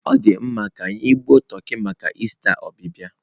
Ọ dị mma, ka gbuo toki maka ista ọbịbịa